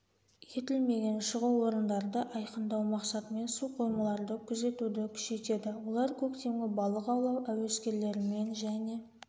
етілмеген шығу орындарды айқындау мақсатымен су қоймаларды күзетуді күшейтеді олар көктемгі балық аулау әуескерлерімен және